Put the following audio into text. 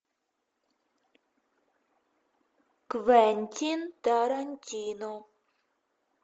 квентин тарантино